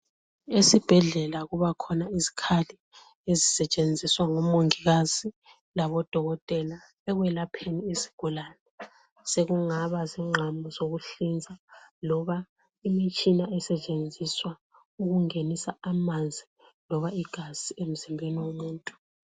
Esibhedlela kuba khona izikhali esisetshenziswa ngomongikazi labodokotela ekwelapheni izigulani sekungaba zigqamu zokuhlinza loba imitshina esetshenziswa ukungenisa amanzi loba igazi emzimbeni womuntu.